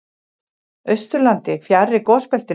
Austurlandi, fjarri gosbeltinu.